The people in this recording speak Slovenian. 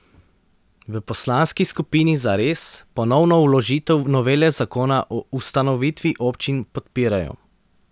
V poslanski skupini Zares ponovno vložitev novele zakona o ustanovitvi občin podpirajo.